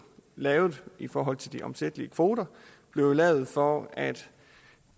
lavet i forhold til de omsættelige kvoter blev jo lavet for at